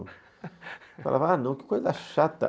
Eu falava, ah não, que coisa chata.